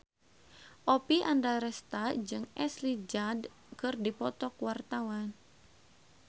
Oppie Andaresta jeung Ashley Judd keur dipoto ku wartawan